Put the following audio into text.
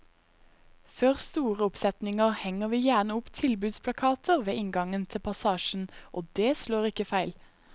Før store oppsetninger henger vi gjerne opp tilbudsplakater ved inngangen til passasjen, og det slår ikke feil.